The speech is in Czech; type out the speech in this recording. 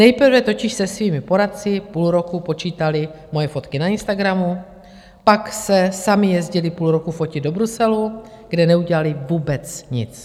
Nejprve totiž se svými poradci půl roku počítali moje fotky na Instagramu, pak se sami jezdili půl roku fotit do Bruselu, kde neudělali vůbec nic.